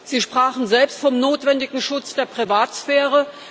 Sie sprachen selbst vom notwendigen Schutz der Privatsphäre.